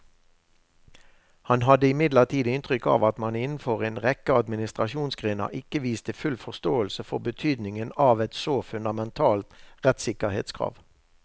Han hadde imidlertid inntrykk av at man innenfor en rekke administrasjonsgrener ikke viste full forståelse for betydningen av et så fundamentalt rettssikkerhetskrav.